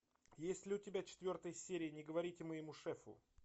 есть ли у тебя четвертая серия не говорите моему шефу